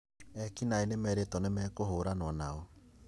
Ekinaĩ nomerĩtwo nĩmekũhũranwo nao